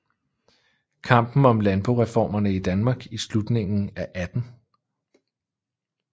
Kampen om Landboreformerne i Danmark i Slutningen af 18